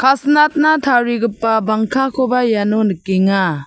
ka·sinatna tarigipa bangkakoba iano nikenga.